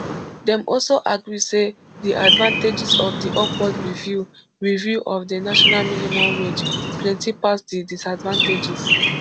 dem also agree say di advantages of di upward review review of di national minimum wage plenty pass di disadvantages